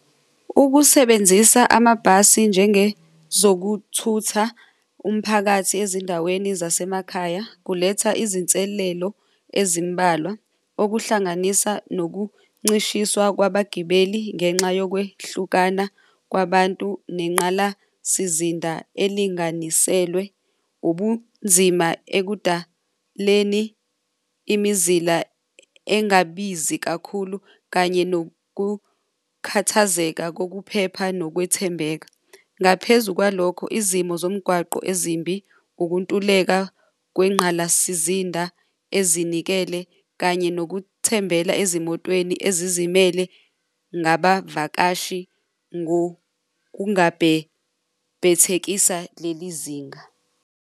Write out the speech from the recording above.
Ukusebenzisa amabhasi njengezokuthutha umphakathi ezindaweni zasemakhaya kuletha izinselelo ezimbalwa okuhlanganisa nokuncishiswa kwabagibeli ngenxa yokwehlukana kwabantu nenqala sizinda elinganiselwe ubunzima ekudaleni imizila engabizi kakhulu kanye nokukhathazeka kokuphepha nokwethembeka. Ngaphezu kwalokho, izimo zomgwaqo ezimbi ukuntuleka kwenqalasizinda ezinikele kanye nokuthembela ezimotweni ezizimele ngabavakashi ngokungabhebhethekisa leli zinga.